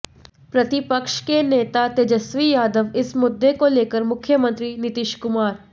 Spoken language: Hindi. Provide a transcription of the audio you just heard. प्रतिपक्ष के नेता तेजस्वी यादव इस मुद्दे को लेकर मुख्यमंत्री नीतीश कुमार